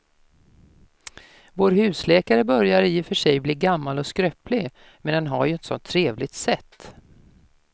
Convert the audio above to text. Vår husläkare börjar i och för sig bli gammal och skröplig, men han har ju ett sådant trevligt sätt!